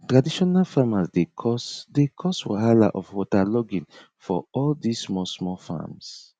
traditional farmers dey cause dey cause wahala of waterlogging for all this small small farms